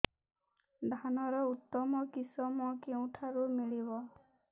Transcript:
ଧାନର ଉତ୍ତମ କିଶମ କେଉଁଠାରୁ ମିଳିବ